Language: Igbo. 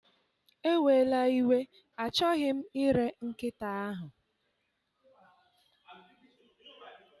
Ewela iwe, achọghị m ire nkịta ahụ.